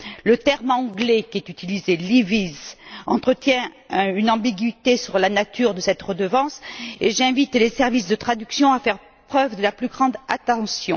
Le terme anglais qui est utilisé levies entretient une ambiguïté sur la nature de cette redevance, et j'invite les services de traduction à faire preuve de la plus grande attention.